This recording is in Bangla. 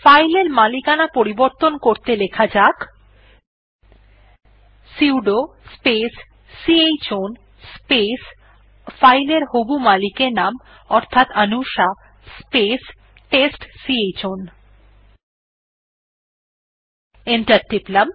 ফাইল এর মালিকানা পরিবর্তন করতে লেখা যাক সুদো স্পেস c হ্ আউন স্পেস ফাইল এর হবু মালিকের নাম অর্থাৎ অনুষা স্পেস টেস্টচাউন অর্থাৎ t e s t c h o w ন